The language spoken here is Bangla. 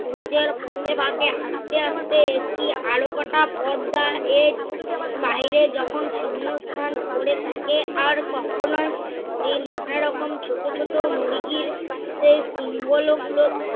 সূর্যের ফাকে ফাকে আসতে আসতে একটি আরেকটা পদ্মা এর বাইরে যখন শূন্যস্থান করে থাকে আর কখনই এই নানারকম ছোট ছোট মুরগির সেই শিঙ্গলও গুলো